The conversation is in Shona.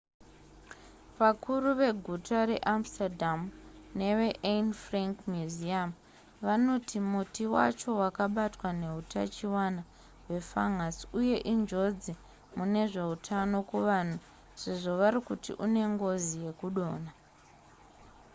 vakuru veguta reamsterdam neveanne frank museum vanoti muti wacho wakabatwa nehutachiona hwefangasi uye injodzi mune zveutano kuvanhu sezvo vari kuti une ngozi yekudonha